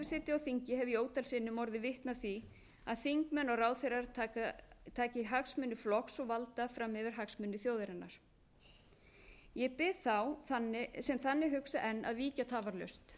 á þingi hef ég ótal sinnum orðið vitni að því að þingmenn og ráðherrar taka hagsmuni flokks og valda fram yfir hagsmuni þjóðarinnar ég bið þá sem þannig hugsa enn að víkja tafarlaust þeir sem taka